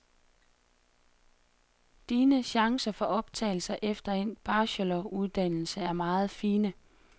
Dine chancer for optagelse efter endt bacheloruddannelse er meget fine.